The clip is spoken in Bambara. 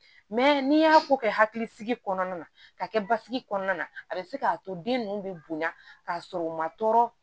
n'i y'a ko kɛ hakilisigi kɔnɔna na k'a kɛ basigi kɔnɔna na a bɛ se k'a to den ninnu bɛ bonya k'a sɔrɔ u ma tɔɔrɔ